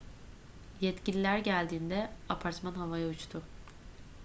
yetkililer geldiğinde apartman havaya uçtu